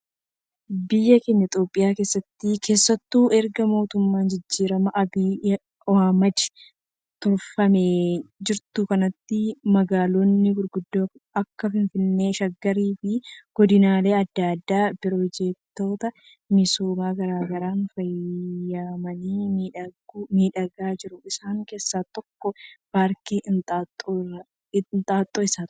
Biyya keenya Itoophiyaa keessatti, keessattuu erga mootummaa jijjiiramaa Abiy Ahimad turfamaa jirtu kanatti magaalonni gurguddo akka finfinnee, Shaggar fi godinaalee addaa addaa piroojektoota misoomaa garaagaraan faayamanii miidhagga jiru. Isaan keessaa tokko paarkii Inxooxxoo isa tokko.